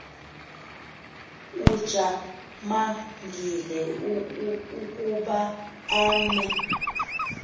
ujamangile ukuba emke